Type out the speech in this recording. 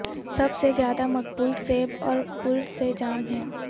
سب سے زیادہ مقبول سیب اور پل سے جام ہے